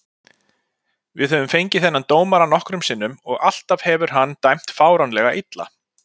Við höfum fengið þennan dómara nokkrum sinnum og alltaf hefur hann dæmt fáránlega illa.